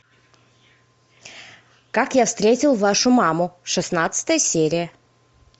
как я встретил вашу маму шестнадцатая серия